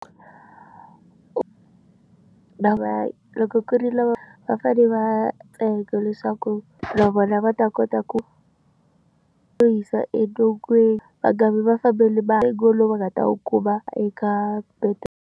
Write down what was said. Loko ku ri lava va fane va ntsengo leswaku na vona va ta kota ku yo hisa va nga vi va fambele Ku va eka .